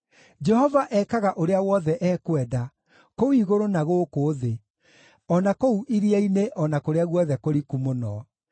Jehova ekaga ũrĩa wothe ekwenda, kũu igũrũ na gũkũ thĩ, o na kũu iria-inĩ o na kũrĩa guothe kũriku mũno.